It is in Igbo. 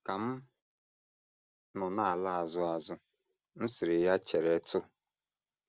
Ka m nọ na - ala azụ azụ, m sịrị ya: ‘ Cheretụ!